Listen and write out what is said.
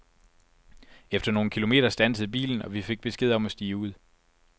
Efter nogle kilometer standsede bilen, og vi fik besked om at stige ud.